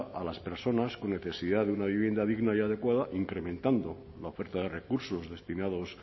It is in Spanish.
a las personas con necesidad de una vivienda digna y adecuada incrementando la oferta de recursos destinados